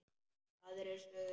Aðrir sögðu: